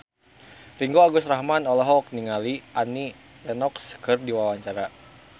Ringgo Agus Rahman olohok ningali Annie Lenox keur diwawancara